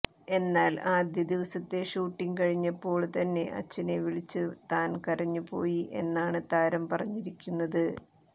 എന്നാൽ ആദ്യ ദിവസത്തെ ഷൂട്ടിങ് കഴിഞ്ഞപ്പോള് തന്നെ അച്ഛനെ വിളിച്ച് താൻ കരഞ്ഞുപോയി എന്നാണ് താരം പറഞ്ഞിരിക്കുന്നത്